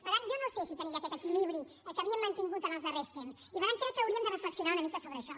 per tant jo no sé si tenim ja aquest equilibri que havíem mantingut en els darrers temps i per tant crec que hauríem de reflexionar una mica sobre això